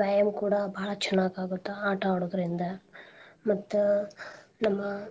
ವ್ಯಾಯಾಮ್ ಕೂಡಾ ಬಾಳ್ ಚೊಲೋಆಗ್ ಆಗುತ್ತ ಆಟಾ ಆಡೋದ್ರಿಂದ ಮತ್ತ ನಮ್ಮ.